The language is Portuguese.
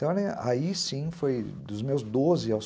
Então, aí sim, foi dos meus doze aos